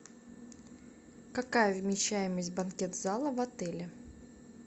какая вмещаемость банкет зала в отеле